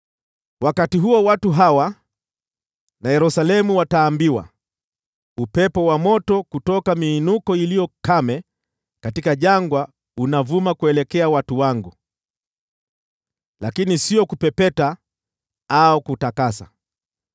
Wakati huo watu hawa na Yerusalemu wataambiwa, “Upepo wa moto kutoka miinuko iliyo kame katika jangwa unavuma kuelekea watu wangu, lakini sio kupepeta au kutakasa,